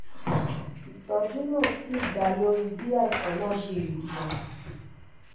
ìtọ́jú náà sì dá lórí bí àìsàn náà ṣe le tó